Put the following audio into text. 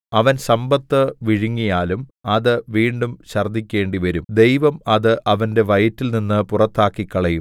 അവൻ സമ്പത്ത് വിഴുങ്ങിയാലും അത് വീണ്ടും ഛർദ്ദിക്കേണ്ടിവരും ദൈവം അത് അവന്റെ വയറ്റിൽനിന്ന് പുറത്താക്കിക്കളയും